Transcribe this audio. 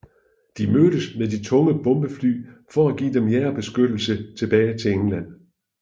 De mødtes med de tunge bombefly for at give dem jagerbeskyttelse tilbage til England